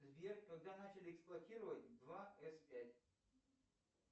сбер когда начали эксплуатировать два с пять